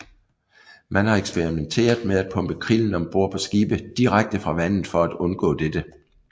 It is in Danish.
Man har eksperimenteret med at pumpe krillen om bord på skibe direkte fra vandet for at undgå dette